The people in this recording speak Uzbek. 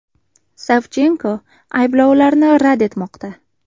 Savchenko ayblovlarni rad etmoqda.